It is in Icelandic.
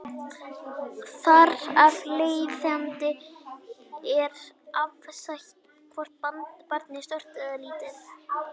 Þar af leiðandi er það afstætt hvort barnið er stórt eða lítið.